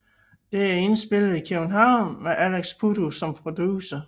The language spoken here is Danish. Det er indspillet i København med Alex Puddu som producer